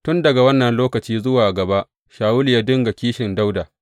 Tun daga wannan lokaci zuwa gaba, Shawulu ya dinga kishin Dawuda.